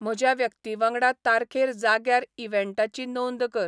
म्हज्या व्यक्तीवांगडा तारखेर जाग्यार इव्हँटाची नोंद कर